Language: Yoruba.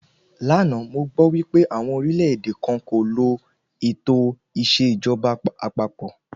Lánàá, mo gbọ́ wípé àwọn orílẹ̀-èdè kan kò lo ètò ìṣèjọba àpapọ̀